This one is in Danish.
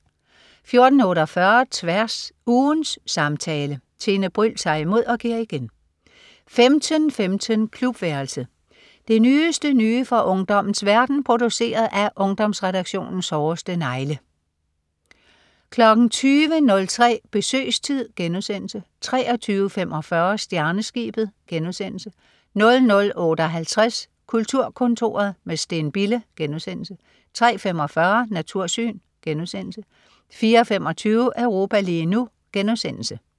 14.48 Tværs. Ugens samtale. Tine Bryld tager imod og giver igen 15.15 Klubværelset. Det nyeste nye fra ungdommens verden, produceret af Ungdomsredaktionens hårdeste negle 20.03 Besøgstid* 23.45 Stjerneskibet* 00.58 Kulturkontoret med Steen Bille* 03.45 Natursyn* 04.25 Europa lige nu*